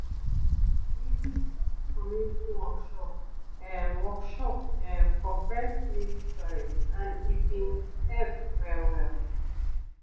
we been get community workshop ehm workshop ehm for breast milk storage and e been help well-well